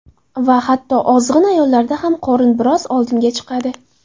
Va hatto ozg‘in ayollarda ham qorin biroz oldinga chiqadi.